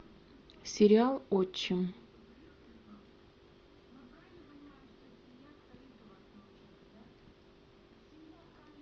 сериал отчим